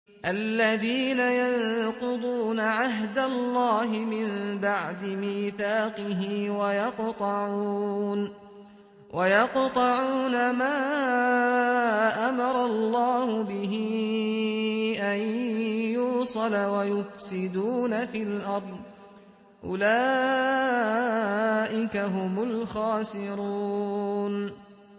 الَّذِينَ يَنقُضُونَ عَهْدَ اللَّهِ مِن بَعْدِ مِيثَاقِهِ وَيَقْطَعُونَ مَا أَمَرَ اللَّهُ بِهِ أَن يُوصَلَ وَيُفْسِدُونَ فِي الْأَرْضِ ۚ أُولَٰئِكَ هُمُ الْخَاسِرُونَ